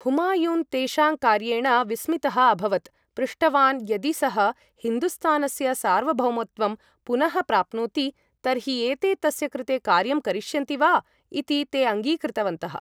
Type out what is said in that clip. हुमायून् तेषां कार्येण विस्मितः अभवत्, पृष्टवान् यदि सः हिन्दुस्तानस्य सार्वभौमत्वं पुनः प्राप्नोति तर्हि एते तस्य कृते कार्यं करिष्यन्ति वा इति, ते अङ्गीकृतवन्तः।